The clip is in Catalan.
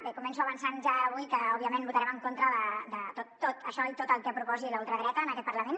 bé començo avançant ja avui que òbviament votarem en contra de tot això i tot el que proposi la ultradreta en aquest parlament